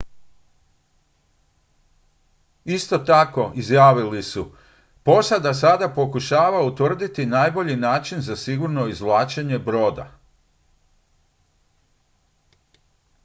"isto tako izjavili su: "posada sada pokušava utvrditi najbolji način za sigurno izvlačenje broda.""